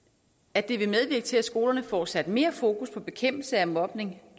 at det vil medvirke til at skolerne får sat mere fokus på bekæmpelse af mobning